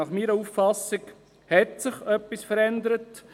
Meiner Auffassung nach hat sich in Frutigen jedoch etwas verändert.